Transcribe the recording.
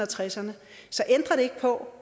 tresserne så ændrer det ikke på